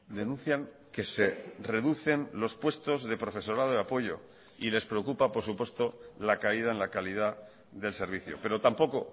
denuncian que se reducen los puestos de profesorado de apoyo y les preocupa por supuesto la caída en la calidad del servicio pero tampoco